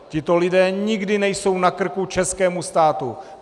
Tito lidé nikdy nejsou na krku českému státu.